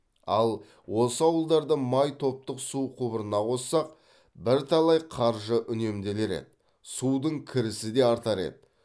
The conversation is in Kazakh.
ал осы ауылдарды май топтық су құбырына қоссақ бірталай қаржы үнемделер еді судың кірісі де артар еді